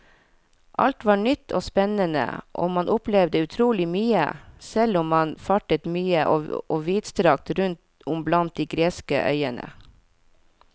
Alt var nytt og spennende og man opplevde utrolig mye, selv om man fartet mye og vidstrakt rundt om blant de greske øyene.